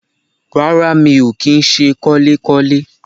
Rárá mi ò kí ń se kọ́lékọ́lé